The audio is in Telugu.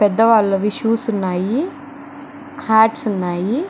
పెద్దవాళ్లవి షూస్ ఉన్నాయి. హాట్స్ ఉన్నాయి.